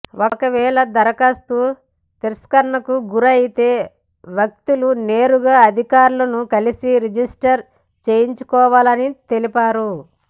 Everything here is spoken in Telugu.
ఒకవేళ దరఖాస్తు తిరస్కరణకు గురైతే వ్యక్తులు నేరుగా అధికారులను కలసి రిజిస్టర్ చేయించుకోవాలని తెలిపారు